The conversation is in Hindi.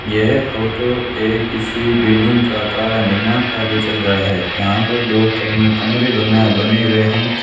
यह फोटो एक किसी बिल्डिंग का का निर्माण कार्य चल रहा है यहां पर दो करम कमरे बना बने हुए हैं।